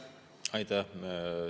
Aitäh!